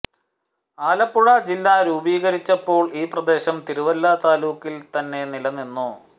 ആലപ്പുഴ ജില്ല രൂപീകരിച്ചപ്പോൾ ഈ പ്രദേശം തിരുവല്ല താലൂക്കിൽ തന്ന നിലനിന്നു